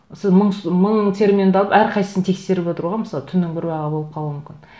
сіз мың мың терминді алып әрқайсын тексеріп отыруға мысалы түннің бір уақыты болып қалуы мүмкін